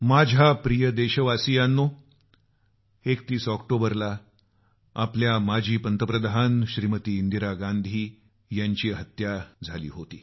माझ्या प्रिय देशवासियांनो 31 ऑक्टोबरला आमच्या माजी पंतप्रधान इंदिरा गांधी यांची हत्या त्याच दिवशी झाली होती